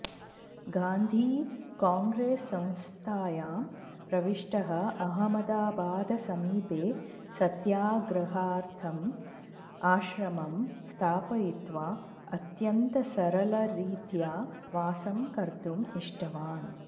गान्धी काङ्ग्रेससंस्थायां प्रविष्टः अहमदाबादसमीपे सत्याग्रहार्थम् आश्रमं स्थापयित्वा अत्यन्तसरलरीत्या वासं कर्तुम् इष्टवान्